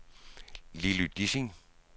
Lilly Dissing